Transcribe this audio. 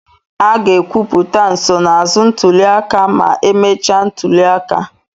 A ga-ekwupụta nsonaazụ ntuli aka ma emechaa ntuli aka.